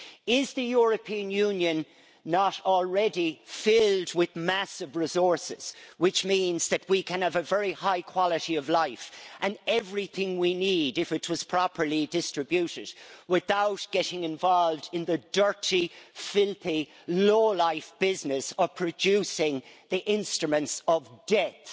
Is the European Union not already filled with massive resources, which means that we can have a very high quality of life and everything we need, if it was properly distributed, without getting involved in the dirty, filthy low-life business of producing the instruments of death?